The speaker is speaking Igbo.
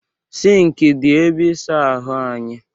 Sịnkị dị ebe ịsa ahụ anyị.